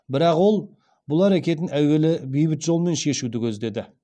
бірақ ол бұл әрекетін әуелі бейбіт жолмен шешуді көздеді